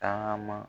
Tagama